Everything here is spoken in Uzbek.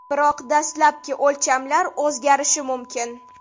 Biroq dastlabki o‘lchamlar o‘zgarishi mumkin.